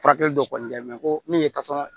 Furakɛli dɔ kɔni kɛ mɛ ko min ye